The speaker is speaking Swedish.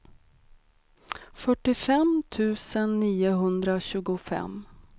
fyrtiofem tusen niohundratjugofem